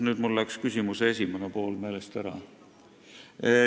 Nüüd läks mul küsimuse esimene pool meelest ära.